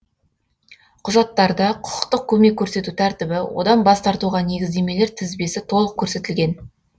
құжаттарда құқықтық көмек көрсету тәртібі одан бас тартуға негіздемелер тізбесі толық көрсетілген